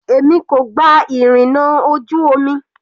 Èmi kò gba ìrìnà ojú omi.